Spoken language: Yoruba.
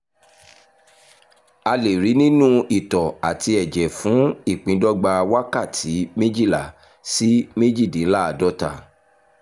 a lè rí i nínú itọ́ àti ẹ̀jẹ̀ fún ìpíndọ́gba wákàtí méjìlá sí méjìdínláàádọ́ta